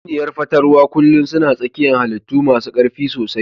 Tatsuniya fatales kullun suna tsakiyan hallitu masu karfi sosai.